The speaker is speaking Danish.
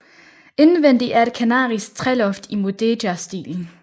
Indvendig er et kanarisk træloft i Mudéjarstilen